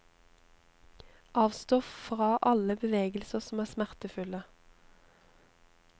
Avstå fra alle bevegelser som er smertefulle.